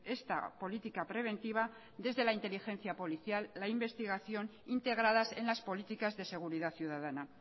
esta política preventiva desde la inteligencia policial la investigación integradas en las políticas de seguridad ciudadana